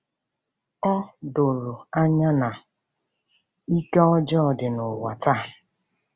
Ọ doro anya na ike ọjọọ dị n’ụwa taa.